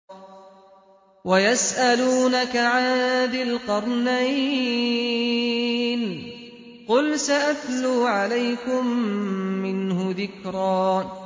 وَيَسْأَلُونَكَ عَن ذِي الْقَرْنَيْنِ ۖ قُلْ سَأَتْلُو عَلَيْكُم مِّنْهُ ذِكْرًا